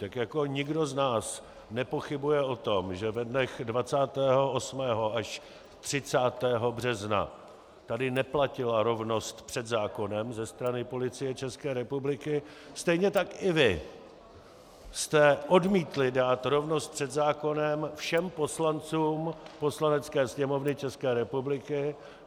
Tak jako nikdo z nás nepochybuje o tom, že ve dnech 28. až 30. března tady neplatila rovnost před zákonem ze strany Policie České republiky, stejně tak i vy jste odmítli dát rovnost před zákonem všem poslancům Poslanecké sněmovny České republiky.